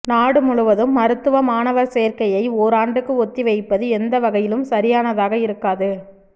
நாடு முழுவதும் மருத்துவ மாணவர் சேர்க்கையை ஓராண்டுக்கு ஒத்திவைப்பது எந்த வகையிலும் சரியானதாக இருக்காது